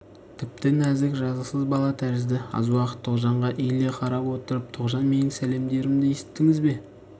тіпті нәзік жазықсыз бала тәрізді аз уақыт тоғжанға иіле қарап отырып тоғжан менің сәлемдерімді есіттіңіз бе